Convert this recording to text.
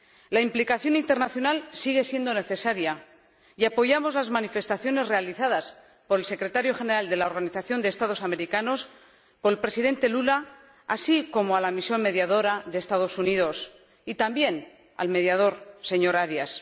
La implicación internacional sigue siendo necesaria y apoyamos las manifestaciones realizadas por el Secretario General de la Organización de Estados Americanos, por el Presidente Lula, así como a la misión mediadora de los Estados Unidos, y también al mediador, señor Arias.